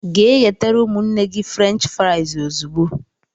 Gee ghetere ụmụnne gị fruench frais ozigbo!!!!!